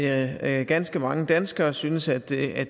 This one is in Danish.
at ganske mange danskere synes at det er